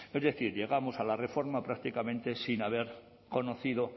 es decir llegamos a la reforma prácticamente sin haber conocido